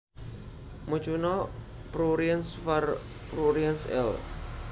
Mucuna pruriens var pruriens L